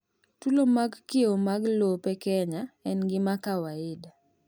tulo mag kiewo mag lope Kenya en gima kwaida